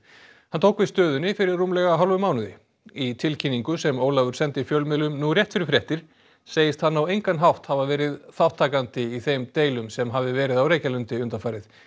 hann tók við stöðunni fyrir rúmlega hálfum mánuði í tilkynningu sem Ólafur sendi fjölmiðlum nú rétt fyrir fréttir segist hann á engan hátt hafa verið þátttakandi í þeim deilum sem hafi verið á Reykjalundi undanfarið